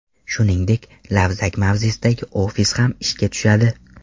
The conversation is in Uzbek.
Shuningdek, Labzak mavzesidagi ofis ham ishga tushadi.